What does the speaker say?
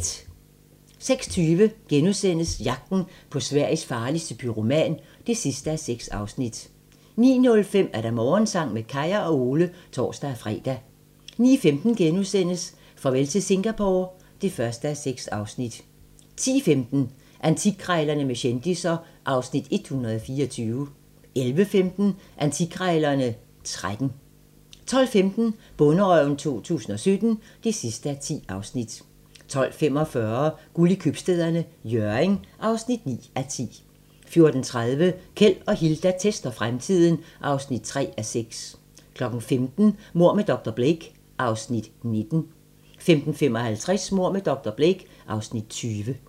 06:20: Jagten på Sveriges farligste pyroman (6:6)* 09:05: Morgensang med Kaya og Ole (tor-fre) 09:15: Farvel til Singapore (1:6)* 10:15: Antikkrejlerne med kendisser (Afs. 124) 11:15: Antikkrejlerne XIII 12:15: Bonderøven 2017 (10:10) 12:45: Guld i Købstæderne - Hjørring (9:10) 14:30: Keld og Hilda tester fremtiden (3:6) 15:00: Mord med dr. Blake (Afs. 19) 15:55: Mord med dr. Blake (Afs. 20)